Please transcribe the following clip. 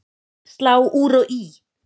Slá úr og í